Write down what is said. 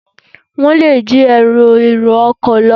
Wọ́n lè jí ẹrù èrò ọkọ̀ lọ.